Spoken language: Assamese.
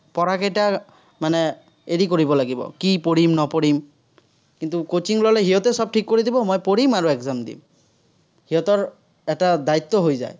পঢ়া কেইটা মানে এৰি কৰি লাগিব। কি পঢ়িম-নপঢ়িম। কিন্তু, coaching ল'লে, সিহঁতে চব ঠিক কৰি দিব, মই পঢ়িম আৰু exam দিম। সিহঁতৰ এটা দায়িত্ব হৈ যায়।